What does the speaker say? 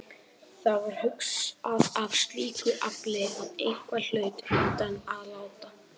Það var hugsað af slíku afli að eitthvað hlaut undan að láta.